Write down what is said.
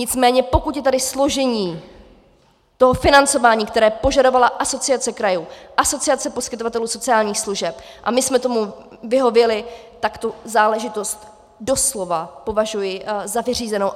Nicméně pokud je tady složení toho financování, které požadovala Asociace krajů, Asociace poskytovatelů sociálních služeb, a my jsme tomu vyhověli, tak tu záležitost doslova považuji za vyřízenou.